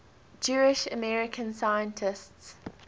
jewish american scientists